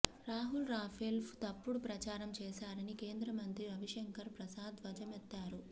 రాహుల్ రాఫేల్పై తప్పుడు ప్రచారం చేశారని కేంద్రమంత్రి రవిశంకర్ ప్రసాద్ ధ్వజమెత్తారు